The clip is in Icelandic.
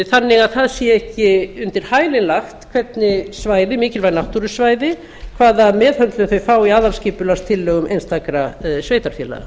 þannig að það sé ekki undir hælinn lagt að mikilvæg náttúrusvæði hvaða meðhöndlun þau fá í aðalskipulagstillögum einstakra sveitarfélaga